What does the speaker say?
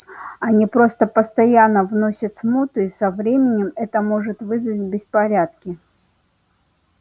они просто постоянно вносят смуту и со временем это может вызвать беспорядки